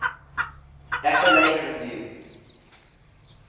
appellate review